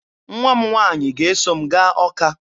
Nwa m nwaanyị ga-eso m gaa Ọka